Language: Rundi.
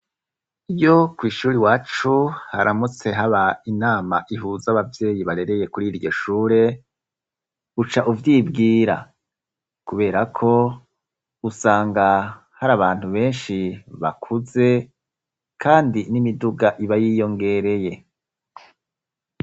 iyo kw, ishuri iwacu haramutse haba inama ihuza abavyeyi barereye kuri iryo shure uca uvyibwira kubera ko usanga hari abantu benshi bakuze kandi n'imiduga ibayiyongereye